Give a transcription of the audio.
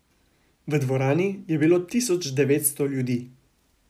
V dvorani je bilo tisoč dvesto ljudi.